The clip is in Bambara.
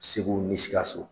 Segu ni sikaso.